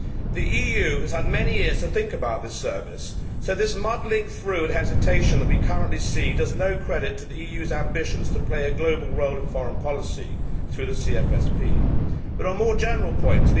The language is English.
The EU has had many years to think about this Service, so this muddling through and hesitation that we currently see does no credit to the EU's ambitions to play a global role in foreign policy through the CFSP. There are more general points.